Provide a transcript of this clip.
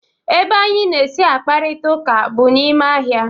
Ebe anyị na-esi akparita ụka bụ na ime ahịa.